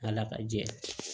Ala ka jɛ